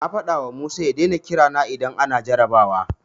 Na faɗawa Musa ya daina kira na idan ana jarrabawa.